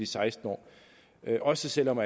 seksten år også selv om